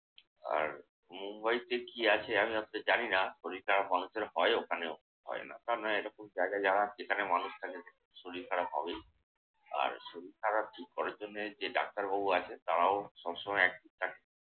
আর মুম্বাইতে কি আছে আমি আপনার জানি না। শরীর খারাপ মানুষের হয় ওখানেও। হয় না তা নয়। এরকম জায়গায় যারা যেখানে মানুষ থাকে শরীর খারাপ হবেই। আর শরীর খারাপ ঠিক করার জন্যে যে ডাক্তারবাবু আছে তারাও সবসময় active থাকে।